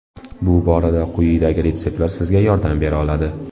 Bu borada quyidagi retseptlar sizga yordam bera oladi.